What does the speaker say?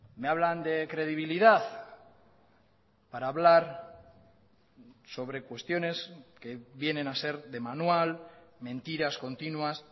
me hablan de credibilidad para hablar sobre cuestiones que vienen a ser de manual mentiras continuas